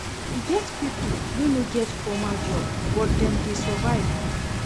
E get pipo wey no get formal job but dem dey survive.